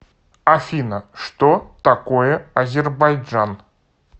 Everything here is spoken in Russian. афина что такое азербайджан